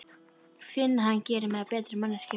Finn að hann gerir mig að betri manneskju.